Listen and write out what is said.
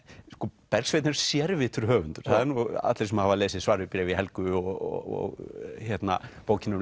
sko Bergsveinn er sérvitur höfundur allir sem hafa lesið svar við bréfi Helgu og bókina um